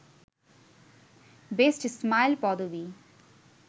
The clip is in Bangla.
বেস্ট স্মাইল পদবী